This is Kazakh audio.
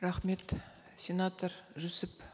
рахмет сенатор жүсіп